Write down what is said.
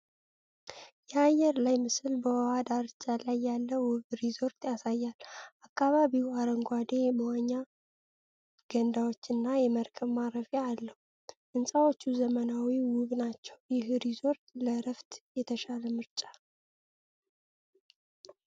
የአየር ላይ ምስል በውሃ ዳርቻ ላይ ያለ ውብ ሪዞርት ያሳያል። አካባቢው አረንጓዴ፣ የመዋኛ ገንዳዎችና የመርከብ ማረፊያ አለው። ሕንፃዎቹ ዘመናዊና ውብ ናቸው። ይህ ሪዞርት ለዕረፍት የተሻለ ምርጫ ነው?